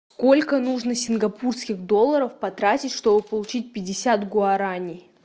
сколько нужно сингапурских долларов потратить чтобы получить пятьдесят гуарани